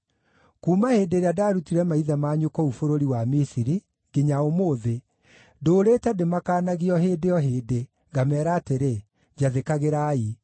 Kuuma hĩndĩ ĩrĩa ndaarutire maithe manyu kũu bũrũri wa Misiri, nginya ũmũthĩ, ndũũrĩte ndĩmakaanagia o hĩndĩ o hĩndĩ, ngameera atĩrĩ, “Njathĩkagĩrai.”